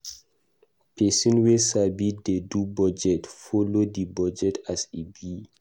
Pesin wey sabi dey do budget, folo di budget as e be.